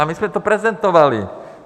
A my jsme to prezentovali.